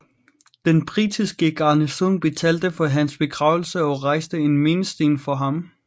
Den britiske garnison betalte for hans begravelse og rejste en mindesten for ham